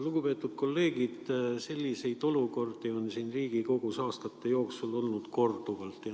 Lugupeetud kolleegid, selliseid olukordi on siin Riigikogus aastate jooksul olnud korduvalt.